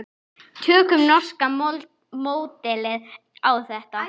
Tökum norska módelið á þetta.